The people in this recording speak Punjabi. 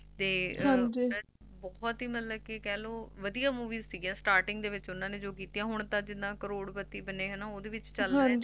ਬਹੁਤ ਹੀ ਮਤਲਬ ਕਿ ਕਹਿਲੋ ਵਧੀਆ Movie ਸੀ Starting ਦੇ ਵਿੱਚ ਜੌ ਵੀ ਕੀਤੀਆਂ ਹੁਣ ਤਾਂ ਜਿੰਨਾ ਕਰੋੜਪਤੀ ਬਣੇ ਓਹਦੇ ਵਿੱਚ ਚਲੇ ਗਏ